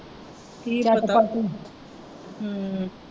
ਕੀ ਹੂੰ